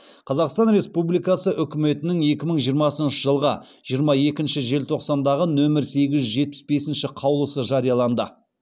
қазақстан республикасы үкіметінің екі мың жиырмасыншы жылғы жиырма екінші желтоқсандағы нөмір сегіз жүз жетпіс бесінші қаулысы жарияланды